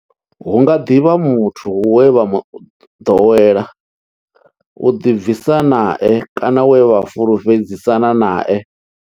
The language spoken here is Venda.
Hu nga ḓi vha muthu we vha ḓowela u ḓi bvisa nae kana we vha fhulufhedzisana nae.